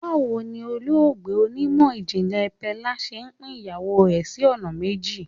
Báwo ni olóògbé onímọ̀ ìjìnlè Pella ṣe pín ìyàwó rẹ̀ sí ọ̀nà méjì.